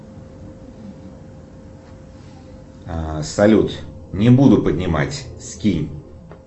салют не буду поднимать скинь